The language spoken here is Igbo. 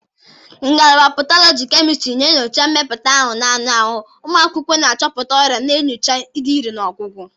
Ngalaba Patologi kemịkalụ na-enyocha mmịpụta ahụ na anụ ahụ, ụmụ akwụkwọ na-achọpụta ọrịa na nyochaa ịdị irè ọgwụgwọ.